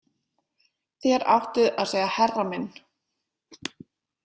„Þér áttuð að segja herra minn.“